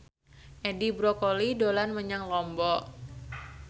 Edi Brokoli dolan menyang Lombok